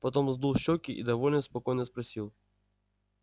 потом сдул щёки и довольно спокойно спросил